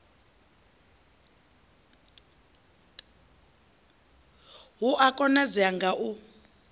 hu a konadzea ga u